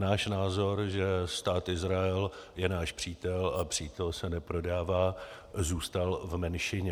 Náš názor, že Stát Izrael je náš přítel a přítel se neprodává, zůstal v menšině.